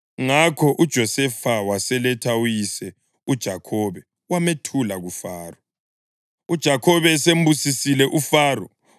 Ngakho uJosefa waseletha uyise uJakhobe wamethula kuFaro. UJakhobe esembusisile uFaro,